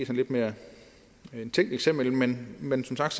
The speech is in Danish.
lidt mere tænkt eksempel men men som sagt